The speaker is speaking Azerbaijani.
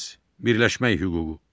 Birləşmək hüququ.